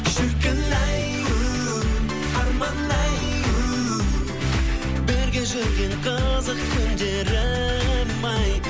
шіркін ай у арман ай у бірге жүрген қызық күндерім ай